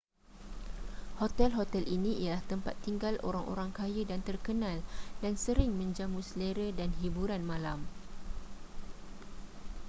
hotel-hotel ini ialah tempat tinggal orang-orang kaya dan terkenal dan sering menjamu selera dan hiburan malam